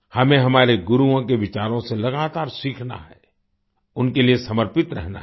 हमें हमारे गुरुओं के विचारों से लगातार सीखना है उनके लिए समर्पित रहना है